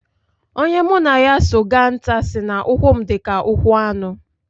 Onye mụ na ya so ga nta, sị na ụkwụ m dịka ụkwụ anụ